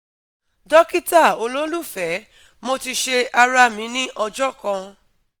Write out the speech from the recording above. Dokita ololufẹ, mo ti ṣe ara mi ni ọjọ kan